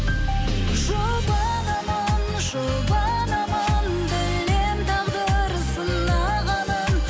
жұбанамын жұбанамын білемін тағдыр сынағанын